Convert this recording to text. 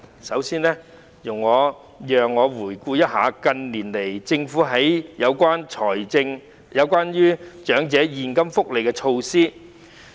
首先，容我回顧一下近年來政府推行的長者現金福利措施。